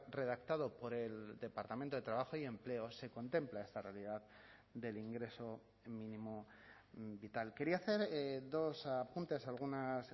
redactado por el departamento de trabajo y empleo se contempla esta realidad del ingreso mínimo vital quería hacer dos apuntes algunas